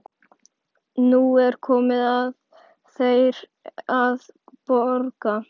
Nú er komið að þér að borga.